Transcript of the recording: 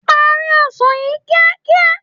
Parí ọsàn yìí kíákíá.